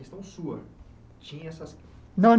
Questão sua? Tinha essas